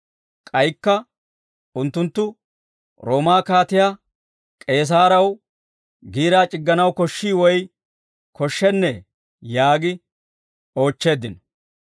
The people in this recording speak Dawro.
K'aykka unttunttu, Roomaa kaatiyaa K'eesaarew giiraa c'igganaw koshshii woy koshshennee?» yaagi oochcheeddino.